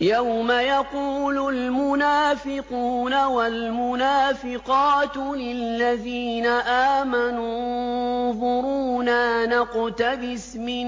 يَوْمَ يَقُولُ الْمُنَافِقُونَ وَالْمُنَافِقَاتُ لِلَّذِينَ آمَنُوا انظُرُونَا نَقْتَبِسْ مِن